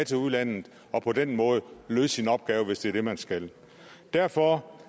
til udlandet og på den måde løse sin opgave hvis det er det man skal derfor